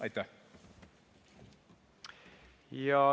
Aitäh!